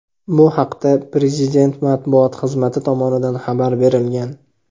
Bu haqda Prezident matbuot xizmati tomonidan xabar berilgan.